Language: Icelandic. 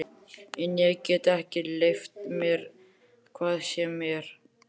En ég get ekki leyft mér hvað sem er!